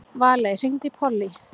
Valey, hringdu í Pollý.